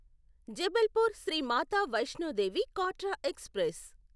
Jabalpur Shri Mata Vaishno Devi Katra express